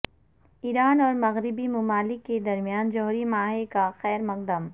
ایران اور مغربی ممالک کے درمیان جوہری معاہے کا خیر مقدم